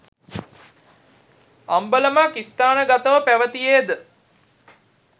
අම්බලමක් ස්ථානගතව පැවතීයේද